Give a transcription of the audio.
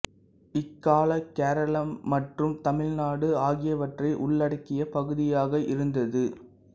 இக்கால கேரளம் மற்றும் தமிழ்நாடு ஆகியவற்றை உள்ளடக்கிய பகுதியாக இருந்தது